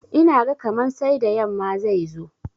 Ina ga kaman sai da yamma zai zo.